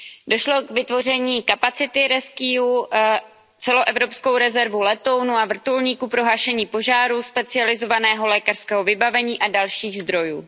Došlo k vytvoření kapacity RescEU, celoevropské rezervy letounů a vrtulníků pro hašení požárů, specializovaného lékařského vybavení a dalších zdrojů.